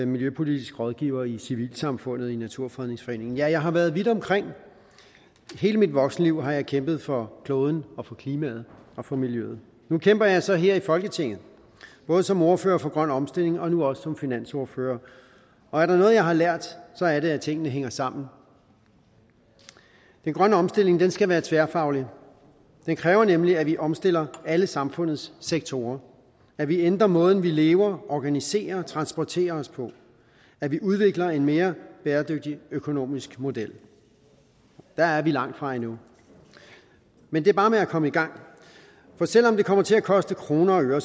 miljøpolitisk rådgiver i civilsamfundet i naturfredningsforeningen ja jeg har været vidt omkring hele mit voksenliv har jeg kæmpet for kloden og for klimaet og for miljøet nu kæmper jeg så her i folketinget både som ordfører for grøn omstilling og nu også som finansordfører og er der noget jeg har lært så er det at tingene hænger sammen den grønne omstilling skal være tværfaglig den kræver nemlig at vi omstiller alle samfundets sektorer at vi ændrer måden vi lever organiserer og transporterer os på at vi udvikler en mere bæredygtig økonomisk model der er vi langt fra endnu men det er bare med at komme i gang for selv om det kommer til at koste kroner og øre